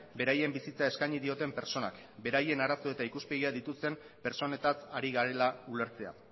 beraien bizitza eskaini dioten pertsonak beraien arazo eta ikuspegia dituzten pertsonetaz ari garela ulertzea